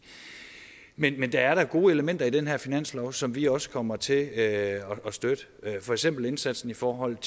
men men der er da gode elementer i denne her finanslov som vi også kommer til at støtte for eksempel indsatsen i forhold